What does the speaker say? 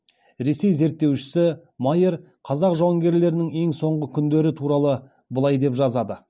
ресей зерттеушісі майер қазақ жауынгерлерінің ең соңғы күндері туралы былай деп жазды